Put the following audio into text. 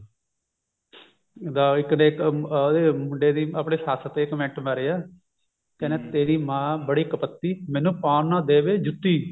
ਦਾ ਇੱਕ ਨੇ ਉਹਦੇ ਮੁੰਡੇ ਦੀ ਆਪਣੇ ਸੱਸ ਤੇ comment ਮਾਰਿਆ ਕਿਹੰਦਾ ਤੇਰੀ ਮਾਂ ਬੜੀ ਕੁਪੱਤੀ ਮੈਨੂੰ ਪਾਉਣ ਨਾ ਦੇਵੇ ਜੁੱਤੀ